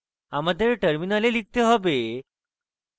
আমাদের terminal লিখতে হবে: